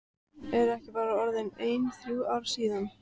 Eru ekki bara orðin ein þrjú ár síðan?